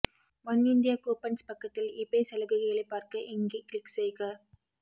Oneindia coupons பக்கத்தில் eBay சலுகைகளை பார்க்க இங்கே க்ளிக் செய்க